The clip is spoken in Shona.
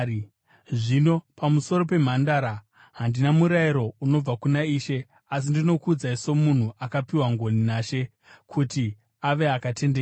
Zvino pamusoro pemhandara: Handina murayiro unobva kuna Ishe, asi ndinokuudzai somunhu akapiwa ngoni naShe kuti ave akatendeka.